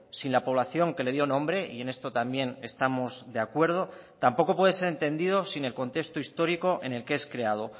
sin la población que le dio nombre y en esto también estamos de acuerdo tampoco puede ser entendido sin el contexto histórico en el que es creado